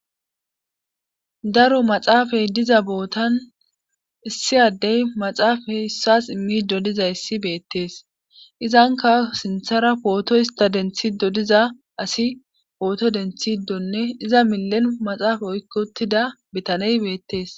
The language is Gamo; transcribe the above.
daro maxaafe diza bootan issi addey maaxafe issuwas immido dizayssi beetes izanka sinthara phooto istha denttido diza asi phooto denttiidonne iza millen maxaafa oykki uttida bitanee beettes.